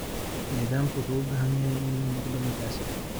Nidaamku wuxuu u baahan yahay inuu noqdo mid casri ah.